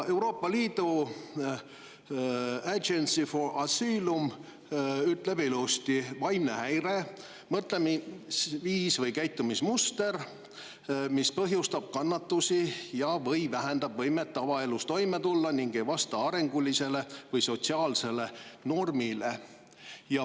Euroopa Liidu Agency for Asylum ütleb ilusti, et vaimne häire on mõtlemisviis või käitumismuster, mis põhjustab kannatusi ja/või vähendab võimet tavaelus toime tulla ning ei vasta arengulisele või sotsiaalsele normile.